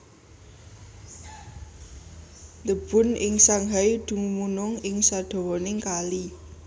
The Bund ing Shanghai dumunung ing sadawaning kali